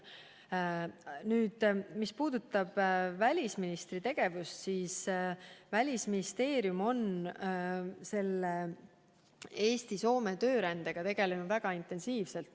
Mis puudutab välisministri tegevust, siis Välisministeerium on Eesti-Soome töörändega tegelenud väga intensiivselt.